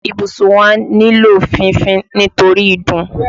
Ibùsùn wa nílò fífín nítorí ìdun.